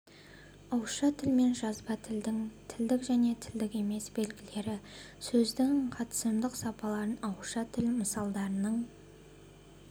ауызша тіл мен жазба тілдің тілдік және тілдік емес белгілері сөздің қатысымдық сапаларын ауызша тіл мысалдарының